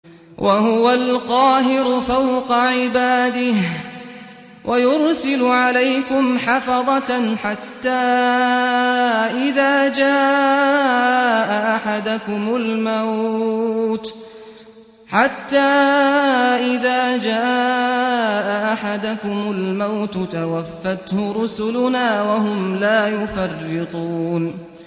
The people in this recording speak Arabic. وَهُوَ الْقَاهِرُ فَوْقَ عِبَادِهِ ۖ وَيُرْسِلُ عَلَيْكُمْ حَفَظَةً حَتَّىٰ إِذَا جَاءَ أَحَدَكُمُ الْمَوْتُ تَوَفَّتْهُ رُسُلُنَا وَهُمْ لَا يُفَرِّطُونَ